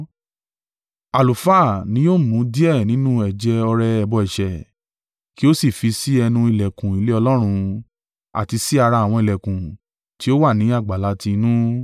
Àlùfáà ni yóò mú díẹ̀ nínú ẹ̀jẹ̀ ọrẹ ẹbọ ẹ̀ṣẹ̀, kí o sì fi si ẹnu ìlẹ̀kùn ilé Ọlọ́run, àti sí ara àwọn ìlẹ̀kùn tí ó wà ní àgbàlá ti inú.